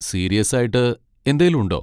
സീരിയസ്സായിട്ട് എന്തേലും ഉണ്ടോ?